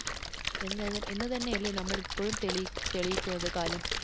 എന്ന് തന്നെയല്ലേ നമ്മൾ ഇപ്പഴും തെളിയിക്കുന്നത് കാലം.